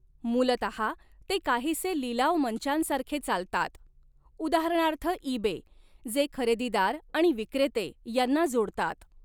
मूलतहा, ते काहीसे लिलाव मंचांसारखें चालतात, उदाहरणार्थ इबे, जे खरेदीदार आणि विक्रेते यांना जोडतात.